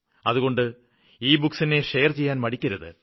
അതുകൊണ്ട് ഇബുക്കുകളെ ഷെയര് ചെയ്യാന് മടിക്കരുത്